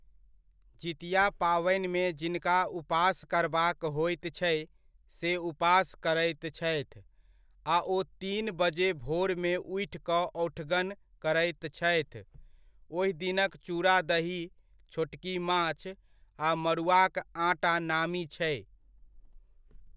जितिया पावनिमे जिनका उपास करबाक होइत छै से उपास करैत छथि, आ ओ तीन बजे भोरमे उठि कऽ औठगन करैत छथि। ओहिदिनक चूड़ा दही, छोटकी माछ आ मड़ुआक आँटा नामी छै।